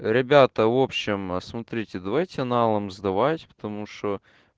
ребята в общем смотрите давайте налом сдавать потому что